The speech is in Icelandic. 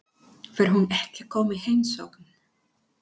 Fer hún ekki að koma í heimsókn?